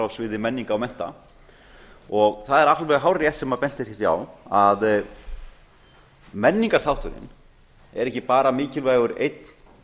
sviði menningar og mennta það er alveg hárrétt sem bent er hér á að menningarþátturinn er ekki bara mikilvægur einn